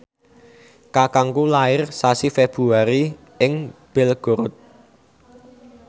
kakangku lair sasi Februari ing Belgorod